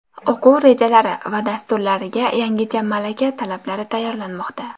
O‘quv rejalari va dasturlariga yangicha malaka talablari tayyorlanmoqda.